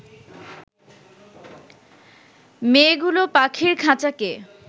মেয়েগুলো পাখির খাঁচাকে